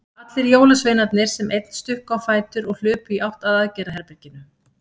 Allir jólasveinarnir sem einn stukku á fætur og hlupu í átt að aðgerðaherberginu.